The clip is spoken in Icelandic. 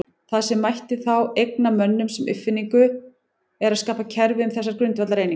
Það sem mætti þá eigna mönnum sem uppfinningu er að skapa kerfi um þessar grundvallareiningar.